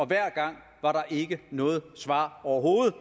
hver gang var der ikke noget svar overhovedet